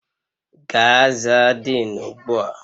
Gaa zaa Denu ugbu a!